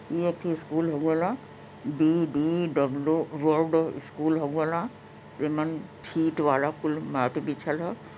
ये एक ठे स्कूल हऊ वाला बी_बी_डब्ल्यू वार्ड स्कूल हऊ वाला। इमन छींट वाला कुल माटी बिछल ह।